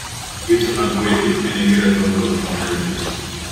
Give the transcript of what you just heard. Geche mag wegi nenigi ratong kod ndiko marateng